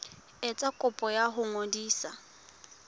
etsa kopo ya ho ngodisa